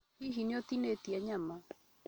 Hihi nĩ ũtinĩtie nyama?